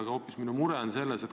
Aga minu mure on selles.